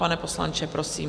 Pane poslanče, prosím.